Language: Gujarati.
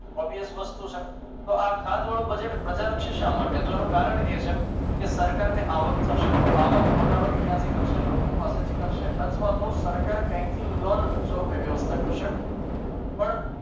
Obius વસ્તુ છે તો આ ખાધવાળું budget પ્રજાલક્ષી શા માટે તો આનું કારણ એ છે કે સરકારને આવક થશે તો આવક મોટા ભાગે ક્યાંથી કરશે લોકો પાસેથી કરશે અથવા તો સરકાર ક્યાંકથી લોન સ્વરૂપે વ્યવસ્થા કરશે પણ